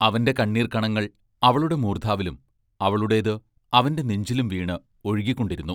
അവന്റെ കണ്ണീർക്കണങ്ങൾ അവളുടെ മൂർദ്ധാവിലും അവളുടേത് അവന്റെ നെഞ്ചിലും വീണ് ഒഴുകിക്കൊണ്ടിരുന്നു.